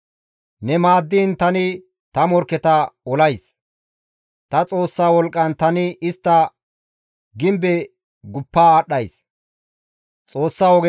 Ne maaddiin tani ta morkketa olays; ta Xoossa wolqqan tani istta gimbe bollara guppa aadhdhays.